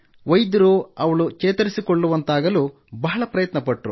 ವೈದ್ಯರು ಅವಳು ಚೇತರಿಕೊಳ್ಳುವಂತಾಗಲು ಬಹಳ ಪ್ರಯತ್ನಪಟ್ಟರು